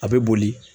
A bɛ boli